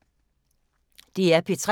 DR P3